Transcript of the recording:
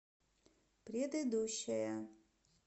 предыдущая